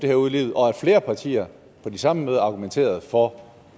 her ud i livet og at flere partier på de samme møder argumenterede for